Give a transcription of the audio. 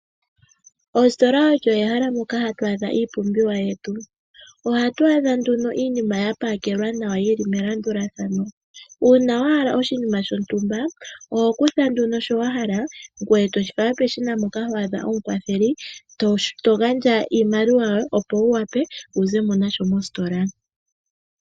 Ositola olyo ehala moka hatu adha iipumbiwa yetu . Ohatu adha nduno iinima yapakelwa nawa, yili melandulathano . Uuna wahala oshinima shontumba , oho kutha nduno sho wahala, ngweye toshi fala peshina mpoka waadha omukwatheli, yogandja iimaliwa yoye opo wuwape , wuzemo nasho mositola.